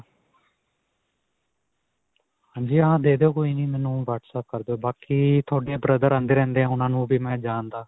ਹਾਂਜੀ ਹਾਂ. ਦੇ ਦਿਓ ਕੋਈ ਨਹੀਂ ਮੇਨੂੰ whatsapp ਕਰ ਦਾਵੋ, ਬਾਕੀ ਤੁਹਾਡੇ brother ਆਉਂਦੇ-ਰਹਿੰਦੇ ਉਨ੍ਹਾਂ ਨੂੰ ਵੀ ਮੈਂ ਜਾਣਦਾਂ.